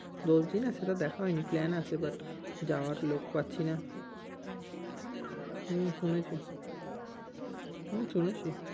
দোস্ত হেয় না সেটা দেখা হয়নি plan আছে but যাওয়ার লোক পাচ্ছি না। হুম শুনেছি, হুম শুনেছি।